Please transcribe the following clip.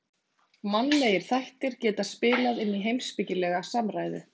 Mannlegir þættir geta spilað inn í heimspekilega samræðu.